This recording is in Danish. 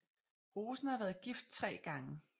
Rosen har været gift tre gange